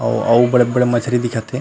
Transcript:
ओ अउ बड़े बड़े मछरी दिखत हे।